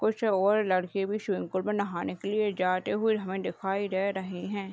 कुछ और लड़के भी स्विमिंग पुल में नहाने के लिए जाते हुए हमे दिखाई दे रहे है।